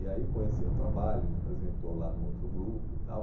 E aí conheceu o trabalho, a gente apresentou lá no outro grupo e tal.